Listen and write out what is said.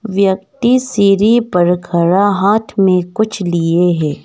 व्यक्ति सीढ़ी पर खड़ा हाथ में कुछ लिए हैं।